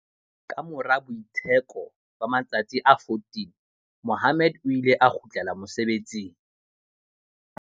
Kamora boitsheko ba ma-tsatsi a 14, Mohammed o ile a kgutlela mosebetsing.